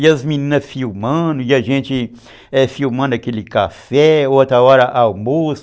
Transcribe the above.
E as meninas filmando, e a gente filmando aquele café, outra hora almoço.